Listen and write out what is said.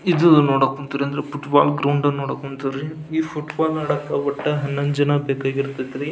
ಇದು ನೋಡಕ್ ಹೊಂತ್ರಿ ಅಂದ್ರೆ ಪುಟ್ಬಾಲ್ ಗ್ರೌಂಡ್ ನೋಡಕ್ ಹೊಂತೀವ್ರಿ ಈ ಪುಟ್ಬಾಲ್ ನ ಆಡಾಕ ಒಟ್ಟು ಹನ್ನೊಂದು ಜನ ಬೇಕಾಗಿ ಇರತೈತಿ ರೀ .